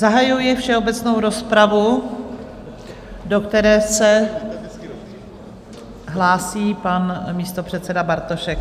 Zahajuji všeobecnou rozpravu, do které se hlásí pan místopředseda Bartošek.